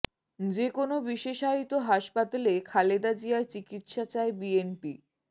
যে কোনও বিশেষায়িত হাসপাতালে খালেদা জিয়ার চিকিৎসা চায় বিএনপি